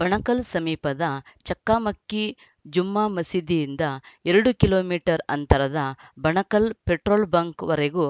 ಬಣಕಲ್‌ ಸಮೀಪದ ಚಕ್ಕಮಕ್ಕಿ ಜುಮ್ಮಾ ಮಸೀದಿಯಿಂದ ಎರಡು ಕಿಲೋ ಮೀಟರ್ ಅಂತರದ ಬಣಕಲ್‌ ಪೆಟ್ರೋಲ್‌ ಬಂಕ್‌ವರೆಗೂ